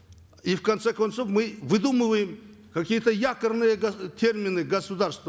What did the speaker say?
и в конце концов мы выдумываем какие то якорные термины государства